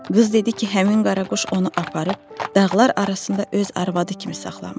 Qız dedi ki, həmin qaraquş onu aparıb dağlar arasında öz arvadı kimi saxlamış.